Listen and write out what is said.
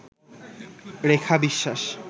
রেখা বিশ্বাস